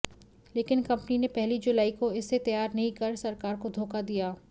लेकिन कंपनी ने पहली जुलाई को इसे तैयार नहीं कर सरकार को धोखा दिया